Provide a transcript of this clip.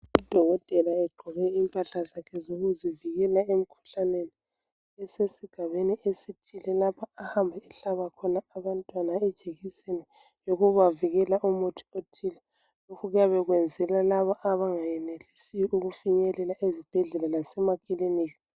Udokotela egqoke impahla zakhe zokuzivikela emikhuhlaneni esesigabeni esithile. Lapha ahamba ehlaba khona abantwana ijekiseni yokubavikela umuthi othile lokhu kuyabe kwenzela labo abangayenelisi ukufinyelela ezibhedlela lasemakilinika